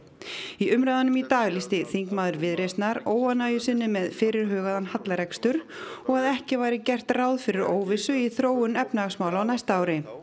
í umræðunum í dag lýsti þingmaður Viðreisnar óánægju sinni með fyrirhugaðan hallarekstur og að ekki væri gert ráð fyrir óvissu í þróun efnahagsmála á næsta ári